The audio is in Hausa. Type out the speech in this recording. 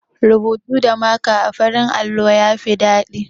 Rubutu da maka a farin allo ya fi daɗi.